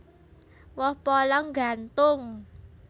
Woh polong nggantung